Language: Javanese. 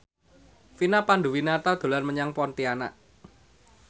Vina Panduwinata dolan menyang Pontianak